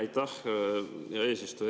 Aitäh, hea eesistuja!